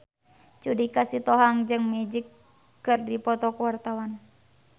Judika Sitohang jeung Magic keur dipoto ku wartawan